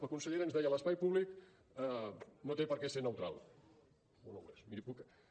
la consellera ens deia l’espai públic no té per què ser neutral o no ho és